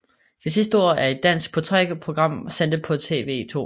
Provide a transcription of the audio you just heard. Det sidste ord er et dansk portrætprogram sendt på TV 2